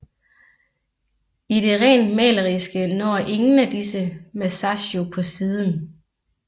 I det rent maleriske når ingen af disse Masaccio på siden